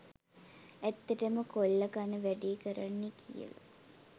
ඇත්තටම කොල්ල කන වැඩේ කරන්නේ කියල